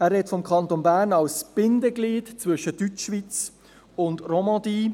Er spricht vom Kanton Bern als Bindeglied zwischen Deutschschweiz und Romandie.